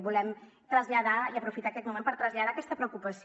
volem traslladar i aprofitar aquest moment per traslladar aquesta preocupació